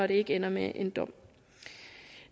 det ikke ender med en dom